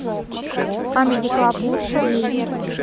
камеди клаб лучшее